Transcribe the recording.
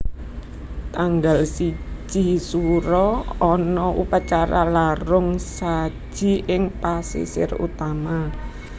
Tanggal siji Suro ana upacara larung saji ing pasisir utama